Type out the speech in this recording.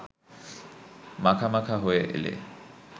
মাখামাখা হয়ে এলে